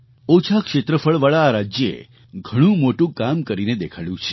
ઓછાં ક્ષેત્રફળવાળા આ રાજ્યે ઘણું મોટું કામ કરીને દેખાડ્યું છે